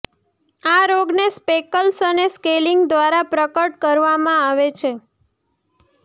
આ રોગને સ્પેકલ્સ અને સ્કેલિંગ દ્વારા પ્રગટ કરવામાં આવે છે